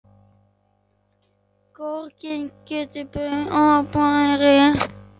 Sorgin getur bugað og beygt.